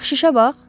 Ancaq şişə bax.